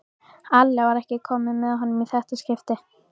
Alli var ekki með honum í þetta skipti.